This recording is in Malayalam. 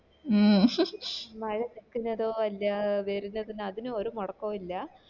മ് മഴ നിക്കുന്നതോ ഇല്ല വരുന്നതിന് അതിനോ ഒരു മൊടക്കോ ഇല്ല